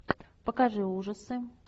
покажи ужасы